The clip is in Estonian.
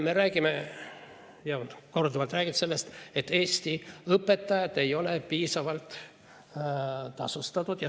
Me räägime ja oleme korduvalt rääkinud sellest, et Eesti õpetajad ei ole piisavalt tasustatud.